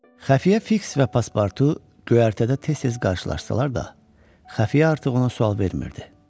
Xəfiyyə Fiks və Paspartu göyərtədə tez-tez qarşılaşsalar da, xəfiyyə artıq ona sual vermirdi.